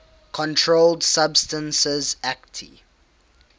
controlled substances acte